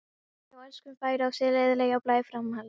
Viðkoman hjá Elskunni fær á sig eðlilegan blæ framhalds.